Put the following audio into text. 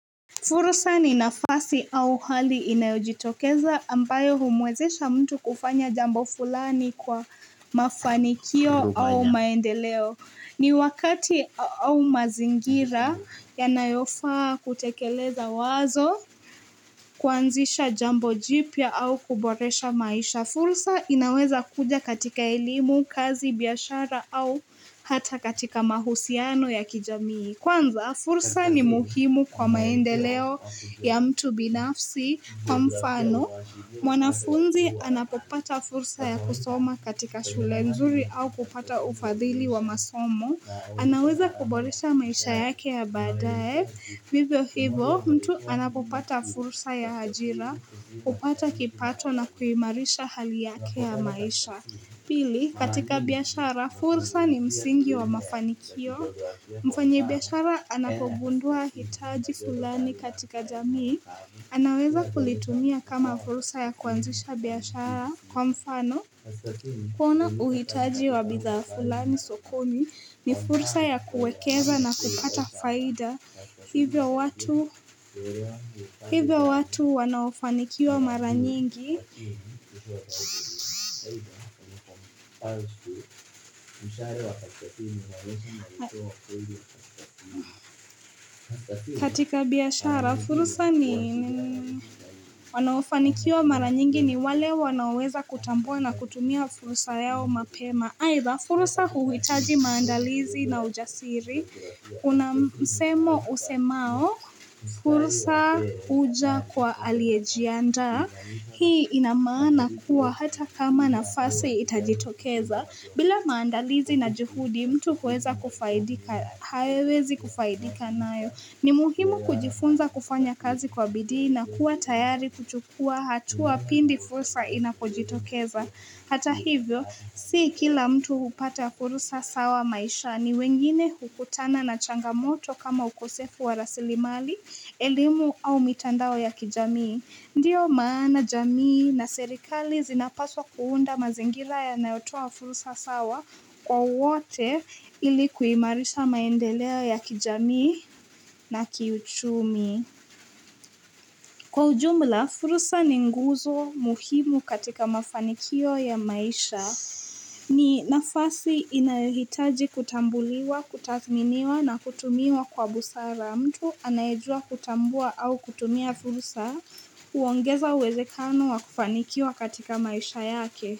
Fursa ni nafasi au hali inayojitokeza ambayo humwezesha mtu kufanya jambo fulani kwa mafanikio au maendeleo. Ni wakati au mazingira yanayofaa kutekeleza wazo, kuanzisha jambo jipya au kuboresha maisha. Fursa inaweza kuja katika elimu, kazi, biashara au hata katika mahusiano ya kijamii. Kwanza, fursa ni muhimu kwa maendeleo ya mtu binafsi kwa mfano. Mwanafunzi anapopata fursa ya kusoma katika shule nzuri au kupata ufadhili wa masomo. Anaweza kuboresha maisha yake ya baadaye. Hivyo hivyo, mtu anapopata fursa ya ajira, hupata kipato na kuimarisha hali yake ya maisha. Pili, katika biashara, fursa ni msingi wa mafanikio. Mfanyibiashara anapogundua hitaji fulani katika jamii, anaweza kulitumia kama fursa ya kuanzisha biashara kwa mfano. Kuona uhitaji wa bidhaa fulani sokoni ni fursa ya kuwekeza na kupata faida hivyo watu hivyo watu wanaofanikiwa mara nyingi. Katika biashara fursa ni wanaofanikiwa mara nyingi ni wale wanaoweza kutambua na kutumia fursa yao mapema aitha fursa huhitaji maandalizi na ujasiri Kuna msemo usemao fursa huja kwa aliyejiandaa Hii ina maana kuwa hata kama nafasi itajitokeza, bila maandalizi na juhudi mtu huweza kufaidika, hawezi kufaidika nayo. Ni muhimu kujifunza kufanya kazi kwa bidii na kuwa tayari kuchukua hatua pindi fursa inapojitokeza. Hata hivyo, si kila mtu hupata furusa sawa maishani wengine hukutana na changamoto kama ukosefu wa rasilimali, elimu au mitandao ya kijamii. Ndiyo maana jamii na serikali zinapaswa kuunda mazingira yanayotoa fursa sawa kwa wote ili kuimarisha maendeleo ya kijamii na kiuchumi. Kwa ujumla, fursa ni nguzo muhimu katika mafanikio ya maisha. Ni nafasi inahitaji kutambuliwa, kutathminiwa na kutumiwa kwa busara. Mtu anayejua kutambua au kutumia fursa huongeza uwezekano wa kufanikiwa katika maisha yake.